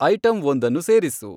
ಐಟಂವೊಂದನ್ನು ಸೇರಿಸು